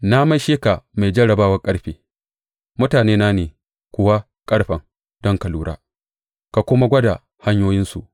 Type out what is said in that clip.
Na maishe ka mai jarrabawar ƙarfe mutanena ne kuwa ƙarfen, don ka lura ka kuma gwada hanyoyinsu.